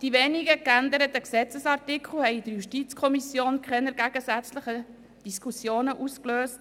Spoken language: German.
Die wenigen geänderten Gesetzesartikel haben in der JuKo keine gegensätzlichen Diskussionen ausgelöst.